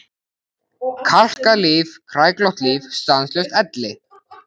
Kalkað líf, kræklótt líf, stanslaus elli.